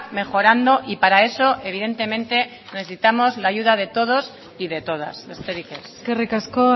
mejorando y para eso evidentemente necesitamos la ayuda de todos y de todas besterik ez eskerrik asko